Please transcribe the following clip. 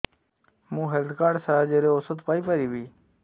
ମୁଁ health card ସାହାଯ୍ୟରେ ଔଷଧ ପାଇ ପାରିବି